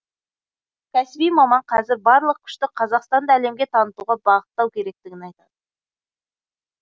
кәсіби маман қазір барлық күшті қазақстанды әлемге танытуға бағыттау керектігін айтты